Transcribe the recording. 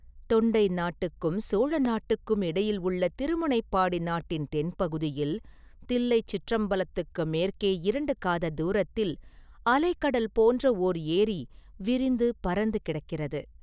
தொண்டை நாட்டுக்கும் சோழ நாட்டுக்கும் இடையில் உள்ள திருமுனைப்பாடி நாட்டின் தென்பகுதியில், தில்லைச் சிற்றம்பலத்துக்கு மேற்கே இரண்டு காததூரத்தில், அலை கடல் போன்ற ஓர் ஏரி விரிந்து பரந்து கிடக்கிறது.